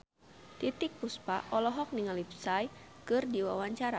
Titiek Puspa olohok ningali Psy keur diwawancara